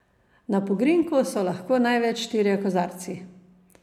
Na pogrinjku so lahko največ štirje kozarci.